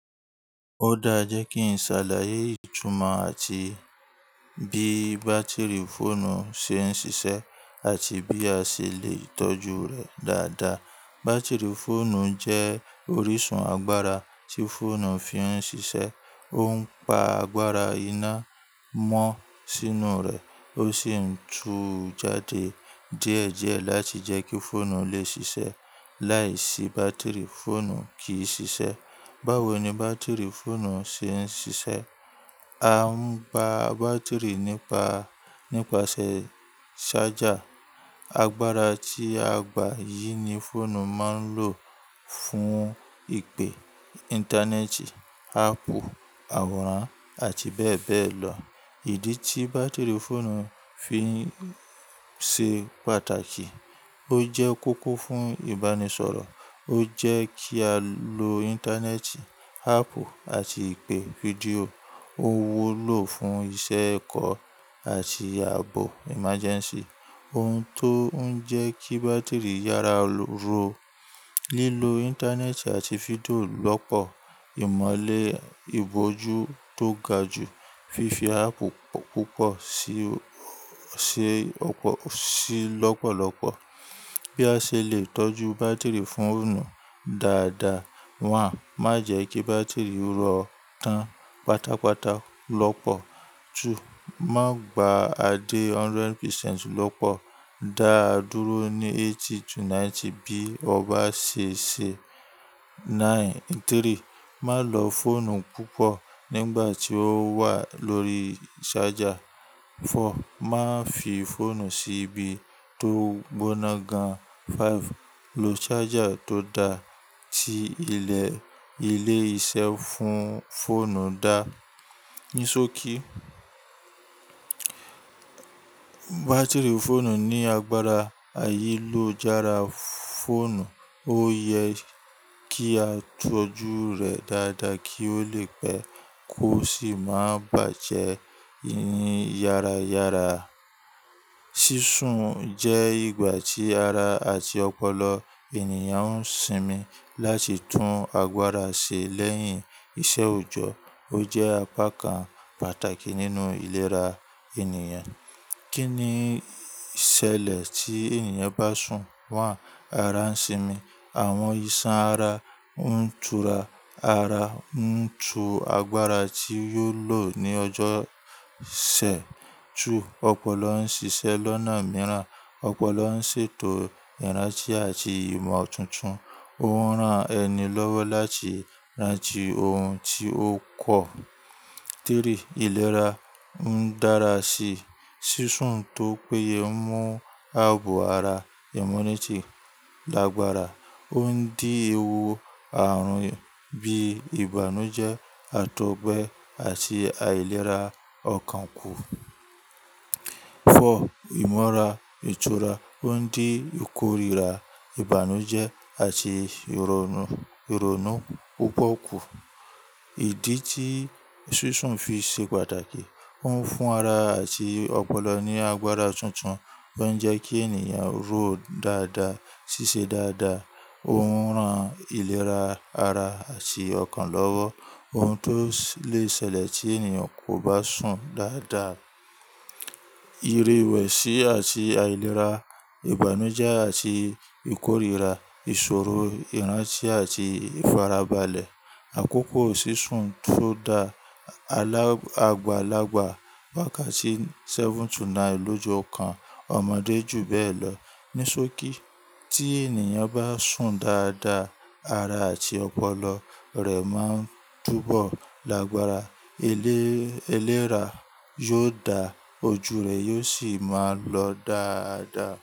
Ó dáa jẹ́ kí n ṣàlàyé ìtumọ̀ àti bí bátìrì fóònù ṣe ń ṣiṣẹ́ àti bí a ṣe lè tọ́jú rẹ̀ dáadáa. Bátìrì fóònù jẹ́ orísun agbára tí fóònù fi ń ṣiṣẹ́. Ó ń pa agbára iná mọ́ sínú rẹ̀ ó sì ń tu jáde díẹ̀ díẹ̀ láti jẹ́ kí fóònù lè ṣiṣẹ́. Láìsí bátìrì, fóònù kì í ṣiṣẹ́. Báwo ni bátìrì fóònù ṣe ń ṣiṣẹ́? A ń ba bátìrì nípa, nípasẹ̀ ṣájà. Agbára tí a gbà yìí ni fóònù máa ń lò fún ìpè, Íńtánẹ́ẹ̀tì, áàpù, àwòrán àti bẹ́ẹ̀ bẹ́ẹ̀ lọ. Ìdí tí bátìrì fóònù fi ṣe pàtàkì. Ó jẹ́ kókó fún ìbánisọ̀rọ̀, ó jẹ́ kí a lo Íńtánẹ́ẹ̀tì, áàpù àti ìpè fídíò. Ó wó ló fún iṣẹ́ ẹ̀kọ́ àti ààbò emergency. Ohun tó ń jẹ́ kí bátìrì yára ró. Lílo Íńtánẹ́ẹ̀tì àti fídíò lọ́pọ̀, ìmọ́lẹ̀ ìbòjú tó ga jù, fífi áàpù púpọ̀ sí, ó ṣe, ó ṣe lọ́pọ̀lọ́pọ̀. Bí a ṣe lè tọ́jú bátìrì fóònù dáadáa. Àkókò, má jẹ́ kí bátìrì ró tán pátápátá lọ́pọ̀. Ekejì, má gba a dé hundred percent lọ́pọ̀, dáa dúró ní eighty to ninety bí ọ bá ṣe ṣe. Éketa, má lọ fóònù púpọ̀ nígbà tí ó wà lórí ṣájà. Fọ́, má fi fóònù sí ibi tó gbóná gan. Ekaarun, lo ṣájà tó da ti ilẹ̀ ilé-iṣẹ́ fún fóònù dáa. Ní sò kí, bátìrì fóònù ní agbára àìní lò jára fóònù, ó yẹ kí á tọ́jú rẹ̀ dáadáa kí ó lè pẹ́ kó sì má bàjẹ́ yára yára. Sísun jẹ́ ìgbà tí ara àti ọpọlọ ènìyàn ń sinmi láti tún agbára ṣe lẹ́yìn ìṣẹ́ òjọ́. Ó jẹ́ apá kan pàtàkì nínú ìlera ènìyàn. Kí niì ṣẹ́lẹ̀ tí ènìyàn bá sùn? Wán, ara ń sinmi. Àwọn ìṣàn ara ń tura. Ara ń tu agbára tí yóò lò ní ọjọ́ òsẹ̀. Tú, ọpọlọ ń ṣiṣẹ́ lọ́nà mìíràn. Ọpọlọ ń ṣètò ìrántí àti ìmọ̀ tuntun. Ó ń rán ẹni lọ́wọ́ láti rántí ohun tí ó kọ́. Éketa, ìlera ń dára sí. Sísun tó péye ń mú ààbò ara, immunity lágbára. Ó ń dí ewu àrùn bí ìbànújẹ́, àtọ̀gbẹ àti àìlera ọkàn kù. Ikerin, ìmọ̀ra ìtura ó ń dí ìkórira, ìbànújẹ́ àti ìrònú, ìrònú púpọ̀ kù. Ìdí tí sísun fi ṣe pàtàkì. Ó ń fún ara àti ọpọlọ ní agbára tuntun tó ń jẹ́ kí ènìyàn ró dáadáa, ṣiṣẹ́ dáadáa. Ó ń ran ìlera ara àti ọkàn lọ́wọ́. Ohun tó lè ṣẹlẹ̀ tí ènìyàn kò bá sùn dáadáa. Irewẹ̀sì àti àìlera, ìbànújẹ́ àti ìkórira, ìṣòro, ìrántí àti ìfarabalẹ̀. Àkókò sísun tó da agbàlagbà wà kàcí seven to nine lójo kan, ọmọdé jù bẹ́ẹ̀ lọ. Ní sòkí, tí ènìyàn bá sùn dáadáa, ara àti ọpọlọ rẹ̀ má ń túbọ̀ lágbára. Eléra yóò dà, ojú rẹ̀ yóò sì máa ń lọ dáadáa.